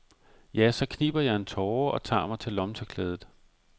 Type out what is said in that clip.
Ja, så kniber jeg en tåre og tager mig til lommetørklædet.